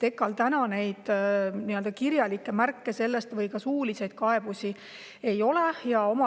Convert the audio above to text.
Kirjalikke märkmeid ega ka suulisi kaebusi EKA-l selle kohta ei ole.